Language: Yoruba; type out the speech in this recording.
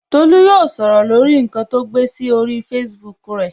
Tolu yóò sọ̀rọ̀ lórí nkan to gbé sí orí Facebook rẹ